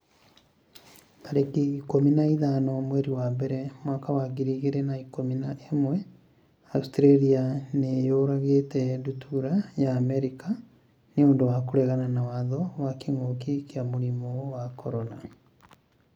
tarĩki ikũmi na ithano mweri wa mbere mwaka wa ngiri igĩrĩ na ikũmi na ĩmweAustralia nĩ yũragĩte ndutura ya Amerika 'nĩ ũndũ wa kũregana mawatho ma kĩngũki kia mũrimũ wa CORONA